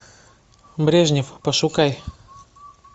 брежнев пошукай